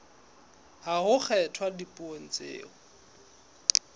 ha ho kgethwa dipuo tseo